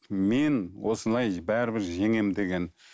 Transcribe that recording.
мен осылай бәрібір жеңемін деген